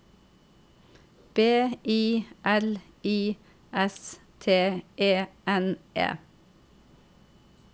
B I L I S T E N E